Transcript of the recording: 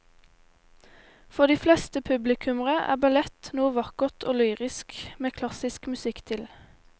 For de fleste publikummere er ballett noe vakkert og lyrisk med klassisk musikk til.